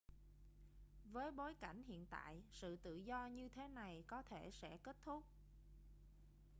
với bối cảnh hiện tại sự tự do như thế này có thể sẽ kết thúc